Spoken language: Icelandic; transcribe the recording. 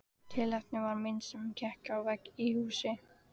Tilefnið var mynd sem hékk á vegg í húsi.